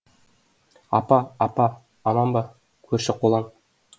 апа апа аман ба көрші қолаң